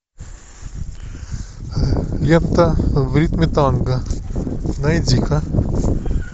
лента в ритме танго найди ка